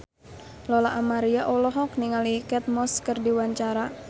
Lola Amaria olohok ningali Kate Moss keur diwawancara